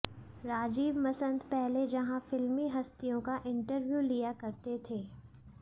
राजीव मसंद पहले जहां फिल्मी हस्तियों का इंटरव्यू लिया करते थे